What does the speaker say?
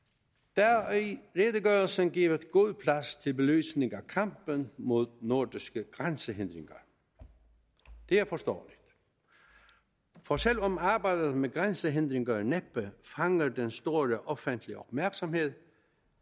der er i redegørelsen givet god plads til belysning af kampen mod nordiske grænsehindringer det er forståeligt og selv om arbejdet med grænsehindringer næppe fanger den store offentlige opmærksomhed